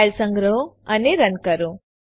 file સંગ્રહો અને run કરો